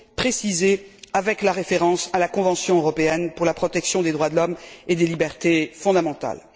précisé avec la référence à la Convention européenne de sauvegarde des droits de l'homme et des libertés fondamentales.